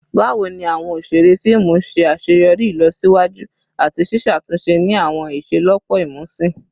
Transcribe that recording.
Bawo ni awọn oṣere fiimu ṣe aṣeyọri ilosiwaju ati ṣiṣatunṣe ni awọn iṣelọpọ imusin?